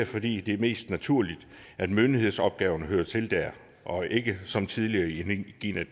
fordi det er mest naturligt at myndighedsopgaverne hører til der og ikke som tidligere i